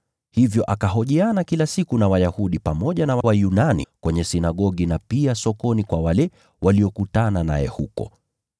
Hivyo akahojiana kwenye sinagogi na Wayahudi pamoja na Wayunani waliomcha Mungu, na pia sokoni kila siku na watu aliopatana nao huko.